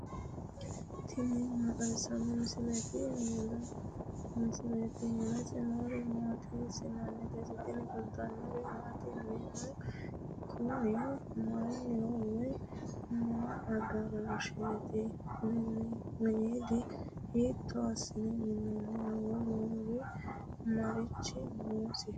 tini maa xawissanno misileeti ? mulese noori maati ? hiissinannite ise ? tini kultannori maati? Minnu kunni mayiiniho woy may adarashsheti? miniido hiitto assine mininni? woluri marichi noosiho?